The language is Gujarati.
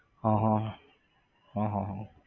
હા હા હા હા હા